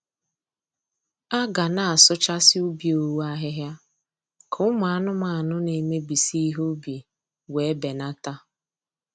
A ga na-asụchasị ubi owu ahịhịa, ka ụmụ anụmanụ na-emebisi ihe ubi wee benata.